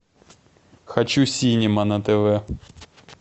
хочу синема на тв